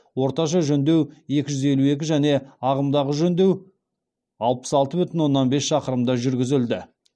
орташа жөндеу екі жүз елу екі және ағымдағы жөндеу алпыс алты бүтін оннан бес шақырымда жүргізілді